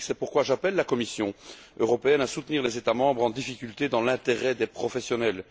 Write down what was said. C'est pourquoi j'appelle la Commission européenne à soutenir les États membres en difficulté dans l'intérêt des professionnels.